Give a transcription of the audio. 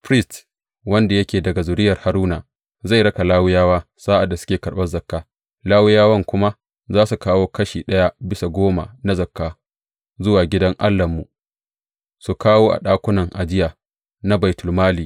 Firist wanda yake daga zuriyar Haruna zai raka Lawiyawa sa’ad da suke karɓan zakka, Lawiyawan kuma za su kawo kashi ɗaya bisa goma na zakka zuwa gidan Allahnmu, su kawo a ɗakunan ajiya na baitulmali.